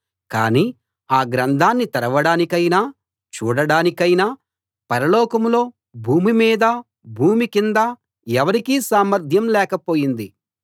కానీ ఆ గ్రంథాన్ని తెరవడానికైనా చూడడానికైనా పరలోకంలో భూమి మీదా భూమి కిందా ఎవరికీ సామర్థ్యం లేకపోయింది